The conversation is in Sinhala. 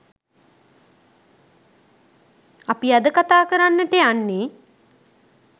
අපි අද කතා කරන්නට යන්නේ.